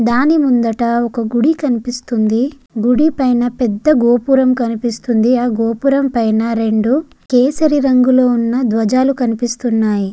దాని ముందట ఒక గుడి కనిపిస్తుంది. గుడి పైన పెద్ద గోపురం కనిపిస్తుంది. ఆ గోపురం పైన రెండు కేసరి రంగులో ఉన్న ద్వజాలు కనిపిస్తున్నాయి.